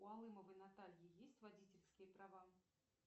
у алымовой натальи есть водительские права